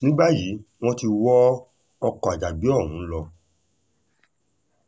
ní báyìí wọ́n ti wọ ọkọ̀ àjàgbé ọ̀hún lọ